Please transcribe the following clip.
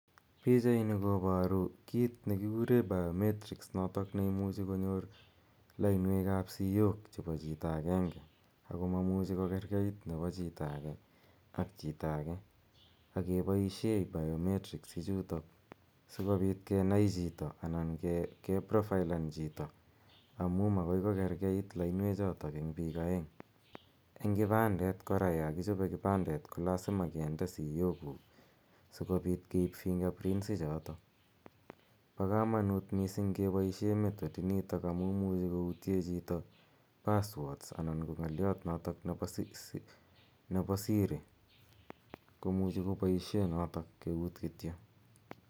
Pichaini koparu kiit ne kikure biometric notok ne imuchi konyor lainwek ap sitmiyok chepo chito agenge ako ma muchi kokerkeit nepo chito age ak chito age ak kepaishe biometrics ichutok asikopit kenai chito anan ke profailan chito amu makoi ko kerket lainwechotok eng' piik aeng'. Eng' kipandet kora, ya kichope kipandet ko lasima kinde siyokuk asikopit keip fingerprints ichotok. Pa kamanut missing' kepaishe method initok amu imuchi koutye chito password anan ko ng'aliot notok nepa siri, ko muchi ko paoshe notok keut kityo.